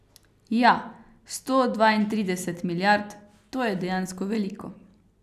Ja, sto dvaintrideset milijard, to je dejansko veliko.